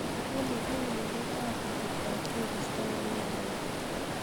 olly ne kereet ab atebtab koristo en wigini